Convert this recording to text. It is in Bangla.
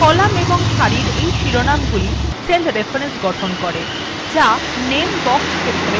column এবং সারির এই শিরোনাম গুলি cell reference গঠন করে যা name box ক্ষেত্রে দেখা যায়